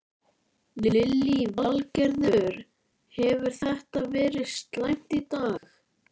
Lillý Valgerður: Hefur þetta verið slæmt í dag?